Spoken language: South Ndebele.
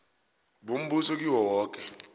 bombuso kiwo woke